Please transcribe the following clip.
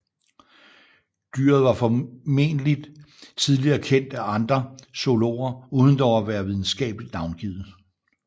Dyret var formodentlig tidligere kendt af andre zoologer uden dog at være videnskabeligt navngivet